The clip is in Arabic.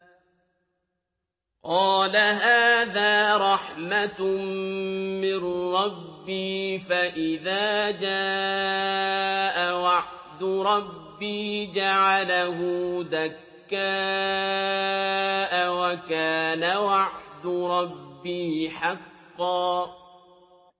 قَالَ هَٰذَا رَحْمَةٌ مِّن رَّبِّي ۖ فَإِذَا جَاءَ وَعْدُ رَبِّي جَعَلَهُ دَكَّاءَ ۖ وَكَانَ وَعْدُ رَبِّي حَقًّا